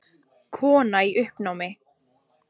Kona í uppnámi!